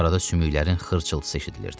Arada sümüklərin xırçılısı eşidilirdi.